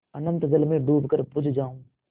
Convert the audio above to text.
अनंत जल में डूबकर बुझ जाऊँ